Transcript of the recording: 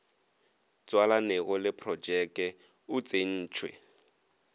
tswalanego le projeke o tsentšwe